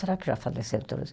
Será que já faleceram todos?